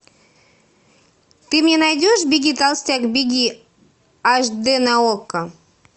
ты мне найдешь беги толстяк беги аш дэ на окко